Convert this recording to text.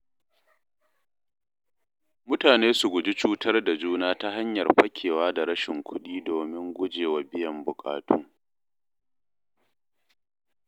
Mutane su guji cutar da juna ta hanyar fakewa da rashin kuɗi domin gujewa biyan bukatu.